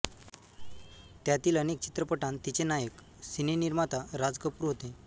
त्यातील अनेक चित्रपटांत तिचे नायक सिनेनिर्माता राज कपूर होते